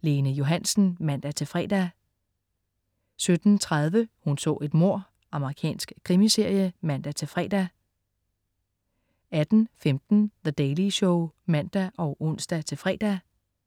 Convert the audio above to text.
Lene Johansen (man-fre) 17.30 Hun så et mord. Amerikansk krimiserie (man-fre) 18.15 The Daily Show* (man og ons-fre)